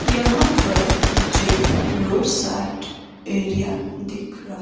यहां पर मुझे रोड साइड एरिया दिख--